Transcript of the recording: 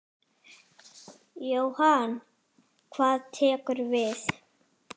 Jóhann: Hvað tekur við?